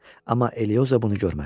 Amma Elioza bunu görmədi.